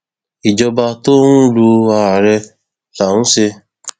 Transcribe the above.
ìjọba tó ń lo ààrẹ là ń ṣe